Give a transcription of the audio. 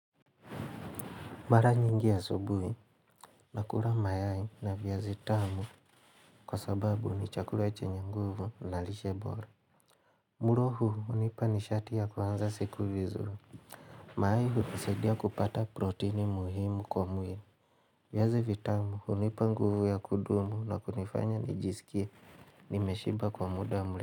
Mara nyingi ya asubuhi, nakula mayai na viazi vitamu kwa sababu ni chakula chenye nguvu na lishe bora. Mlo huu hunipa nishati ya kuanza siku vizu. Mayau hunisedia kupata protini muhimu kwa mwili. Viazi vitamu hunipa nguvu ya kudumu na kunifanya nijisikie nimeshiba kwa muda mle.